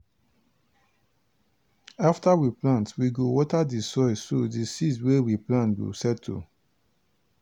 after we plant we go water the soil so di seeds wey we plant go settle.